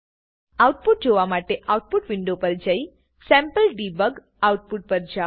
output જોવા માટે output window પર જઈ સેમ્પલડેબગ આઉટપુટ પર જાઓ